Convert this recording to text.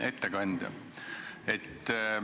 Hea ettekandja!